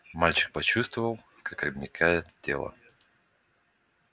мальчик почувствовал как обмякает тело